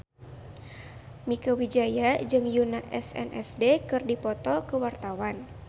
Mieke Wijaya jeung Yoona SNSD keur dipoto ku wartawan